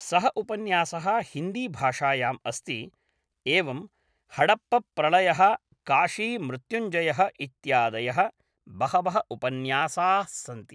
सः उपन्यासः हिन्दीभाषायाम् अस्ति एवं हडप्प प्रलयः काशी मृत्युञ्जयः इत्यादयः बहवः उपन्यासाः स्सन्ति